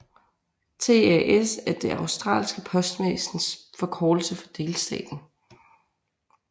TAS er det australske postvæsens forkortelse for delstaten